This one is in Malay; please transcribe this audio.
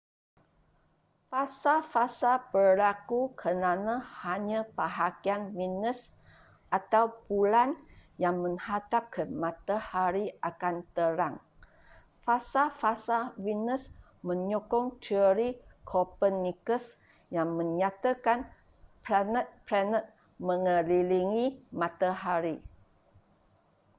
fasa-fasa berlaku kerana hanya bahagian venusatau bulan yang menghadap ke matahari akan terang. fasa-fasa venus menyokong terori copernicus yang menyatakan panet-planet mengelilingi matahari